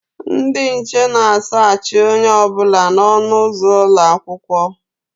Ndị nche na a saachị onye ọbụla na ọnụ ụzọ ụlọakwụkwọ